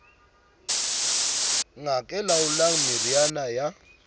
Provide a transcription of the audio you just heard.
ngaka e laolang meriana ya